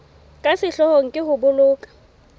ka sehloohong ke ho boloka